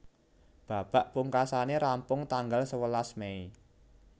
Babak pungkasané rampung tanggal sewelas Mei